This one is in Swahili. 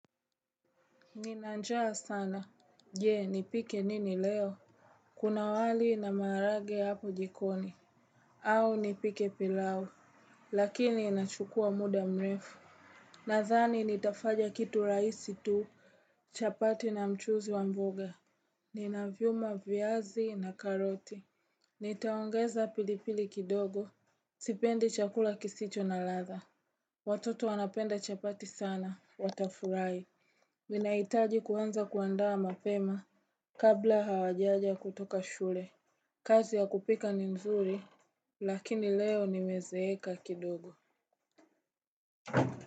Nina njaa sana. Je, nipike nini leo? Kuna wali na maharage hapo jikoni. Au nipike pilau. Lakini inachukua muda mrefu. Nadhani nitafanya kitu rahisi tu. Chapati na mchuzi wa mboga. Nina vyuma viazi na karoti. Nitaongeza pilipili kidogo. Sipendi chakula kisicho na ladha. Watoto wanapenda chapati sana. Watafurahi. Ninahitaji kuanza kuandaa mapema kabla hawajaja kutoka shule. Kazi ya kupika ni nzuri. Lakini leo nimezeeka kidogo.